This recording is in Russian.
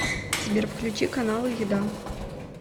сбер включи каналы еда